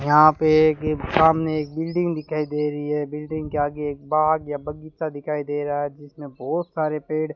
यहां पे एक सामने एक बिल्डिंग दिखाई दे रही है बिल्डिंग के आगे एक बाग या बगीचा दिखाई दे रहा है जिसमें बहुत सारे पेड़ --